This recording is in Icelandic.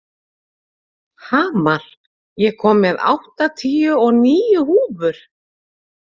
Hamar, ég kom með áttatíu og níu húfur!